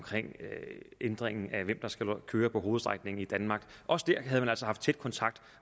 ændringen af hvem der skal køre på hovedstrækningen i danmark også der havde man altså haft tæt kontakt